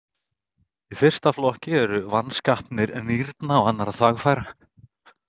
Í fyrsta flokki eru vanskapanir nýrna og annarra þvagfæra.